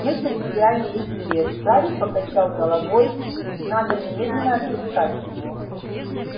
мы потеряли их след гарри покачал головой надо немедленно отыскать его